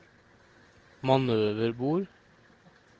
manøverbord